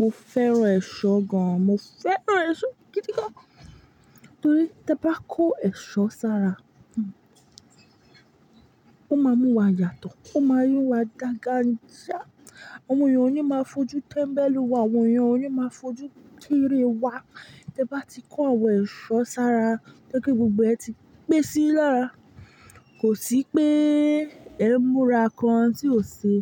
Mo fẹ́ràn ẹ̀ṣọ́ gan, mo fẹ́ràn ẹ̀ṣọ́ gidi gan an nítorí tẹ bá kó ẹ̀ṣọ́ sára, ó máa mú wa yàtọ̀, ó máa mú wa dàngàńjà, àwọn èèyàn ò ní máa fojú tẹ́mbẹ́lú wa, àwọn èèyàn ò ní máa fojú kéréwa. Tẹ bá ti kó àwọn ẹ̀ṣọ́ sára, tó ye pé gbogbo ẹ̀ ti pẹ́ sí yin lára, kò sí pé ẹ múra kan tí ò ṣe,